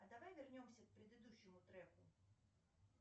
а давай вернемся к предыдущему треку